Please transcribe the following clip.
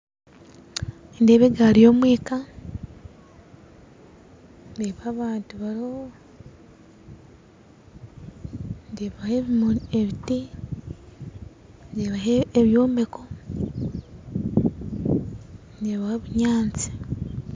Nindeeba egaari y'omwika ndeeba abantu bariho ndeebaho ebiti ndeebaho ebyombeko ndeebaho ebinyaatsi